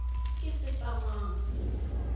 ketshepamang